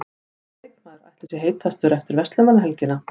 Hvaða leikmaður ætli sé heitastur eftir Verslunarmannahelgina?